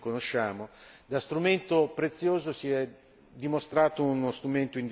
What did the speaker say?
da strumento prezioso si è dimostrato uno strumento indispensabile.